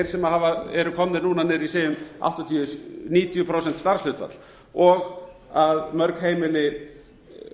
sem eru komnir núna niður í segjum áttatíu til níutíu prósent starfshlutfall og mörg heimili